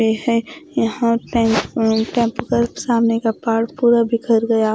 ये है यहां पे सामने का पाठ पूरा बिखर गया।